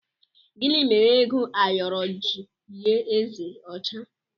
Gịnị mere ego ayoro ji yie eze ọcha?